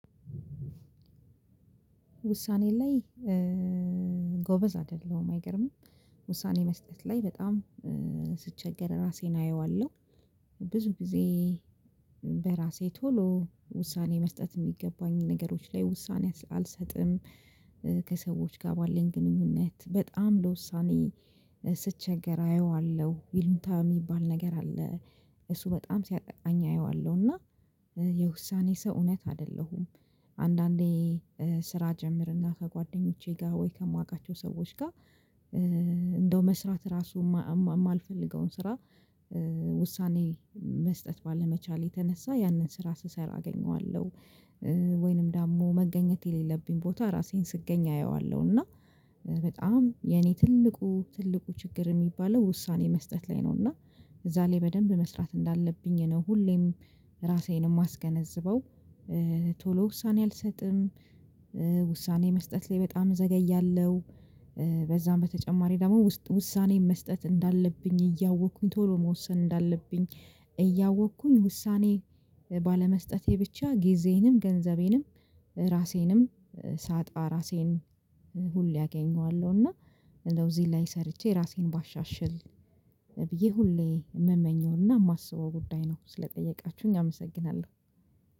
ውሳኔ ላይ ጎበዝ አይደለሁም አይገርምም። ውሳኔ መስጠት ላይ በጣም ስቸገር ራሴን አየዋለሁ ብዙ ጊዜ በራሴ ቶሎ ውሳኔ መስጠት የሚገባኝ ነገሮች ላይ ውሳኔ አልሰጥም። ከሰዎች ጋር ባለኝ ግንኙነት በጣም ለውሳኔ ስቸገር አየዋለሁ ይሉኝታ የሚባል ነገር አለ። እሱ በጣም ሲያጠቃኝ አየዋለሁ እና የውሳኔ ሰው እውነት አይደለሁም። አንዳንዴ ስራ ጀምርና ከጓደኞቼ ጋር ወይ ከማውቃቸው ሰዎች ጋር እንደው መስራት ራሱ የማልፈልገውን ስራ ውሳኔ መስጠት ባለመቻሌ የተነሳ ያንን ስራ ስሰራ አገኘዋለሁ። ወይንም ደግሞ መገኘት የሌለብኝ ቦታ ራሴን ስገኝ አየዋለሁ እና በጣም የኔ ትልቁ ትልቁ ችግር የሚባለው ውሳኔ መስጠት ላይ ነው። እና እዛ ላይ በደንብ መስራት እንዳለብኝ ነው ሁሌም ራሴንም አማስገነዝበው። ቶሎ ውሳኔ አልሰጥም። ውሳኔ መስጠት ላይ በጣም ዘገያለሁ። በዛም በተጨማሪ ደግሞ ውሳኔ መስጠት እንዳለብኝ እያወቅኩኝ ቶሎ መወሰን እንዳለብኝ እያወቅኩኝ ውሳኔ ባለመስጠቴ ብቻ ጊዜንም ገንዘቤንም ራሴንም ሳጣ ራሴን ሁሌ አገኘዋለሁ። እና እንደው እዚህ ላይ ሰርቼ ራሴን ባሻሽል ብዬ ሁሌ የምመኘውና የማስበው ጉዳይ ነው ስለጠየቃችሁኝ አመሰግናለሁ